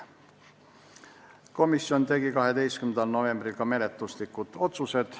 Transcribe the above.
Komisjon tegi 12. novembril ka menetluslikud otsused.